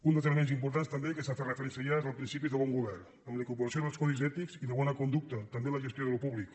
un dels elements importants també que s’hi ha fet referència ja és el principi de bon govern amb la incorporació dels codis ètics i de bona conducta també en la gestió d’allò públic